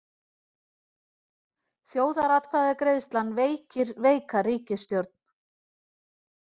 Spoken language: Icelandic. Þjóðaratkvæðagreiðslan veikir veika ríkisstjórn